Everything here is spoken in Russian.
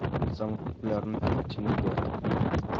самый популярный фильм тима бертона